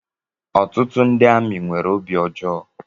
Ọtụtụ ndị amị nwèrè obi ọjọọ